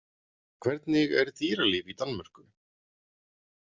Hvernig er dýralíf í Danmörku?